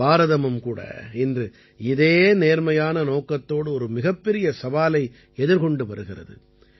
பாரதமும் கூட இன்று இதே நேர்மையான நோக்கத்தோடு ஒரு மிகப்பெரிய சவாலை எதிர்கொண்டு வருகிறது